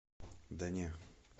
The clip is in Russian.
да не